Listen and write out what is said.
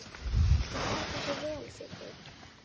Þú stendur þig vel, Siddi!